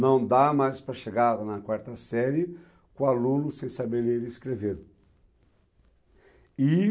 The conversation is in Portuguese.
Não dá mais para chegar na quarta série com alunos sem saber ler e nem escrever. E